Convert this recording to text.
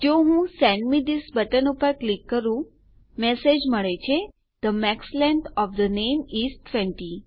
જો હું સેન્ડ મે થિસ બટન પર ક્લિક કરું મેસેજ મળે છે the max length of the name is 20